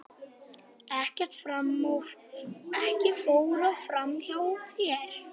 Ekkert fór fram hjá þér.